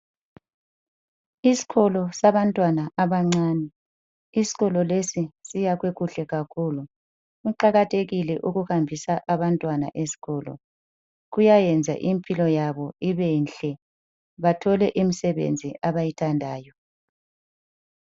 Isikolo sabantwana abancane. Isikolo lesi siyakhwe kuhle kakhulu. Kuqakathekile ukuhambisa abantwana esikolo. Kuyayenza impilo yabo ibenhle, bathole imisebenzi abayithandayo.